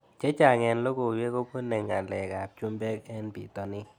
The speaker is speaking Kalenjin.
Chechang' eng' lokoiwek ko pune ng'alek ab chumbek eng' pitonin